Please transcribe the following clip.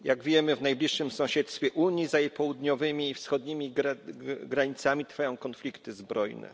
Jak wiemy, w najbliższym sąsiedztwie Unii, za jej południowymi i wschodnimi granicami trwają konflikty zbrojne.